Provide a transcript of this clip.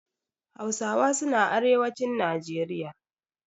Hausawa suna arewacin Najeriya.